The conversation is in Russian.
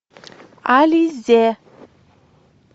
ализе